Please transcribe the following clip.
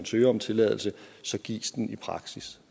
søger om tilladelse gives den i praksis